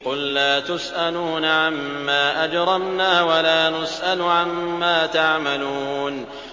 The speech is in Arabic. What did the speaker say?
قُل لَّا تُسْأَلُونَ عَمَّا أَجْرَمْنَا وَلَا نُسْأَلُ عَمَّا تَعْمَلُونَ